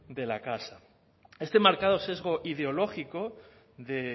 de la casa este marcado sesgo ideológico de